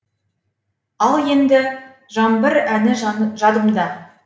ал енді жаңбыр әні жадымда